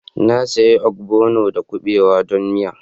Na sayi ogbono da kuɓewa don miya